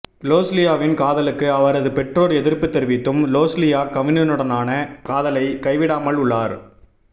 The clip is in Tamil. லொஸ்லியாவின் காதலுக்கு அவரது பெற்றோர் எதிர்ப்பு தெரிவித்தும் லொஸ்லியா கவினுடனான காதலை கைவிடாமல் உள்ளார்